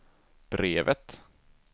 brevet